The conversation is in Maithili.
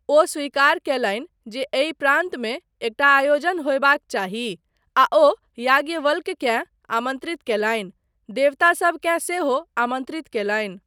ओ स्वीकार कयलनि जे एहि प्रान्तमे एकटा आयोजन होयबाक चाही आ ओ याज्ञवल्क्यकेँ आमन्त्रित कयलनि, देवतासबकेँ सेहो आमन्त्रित कयलनि।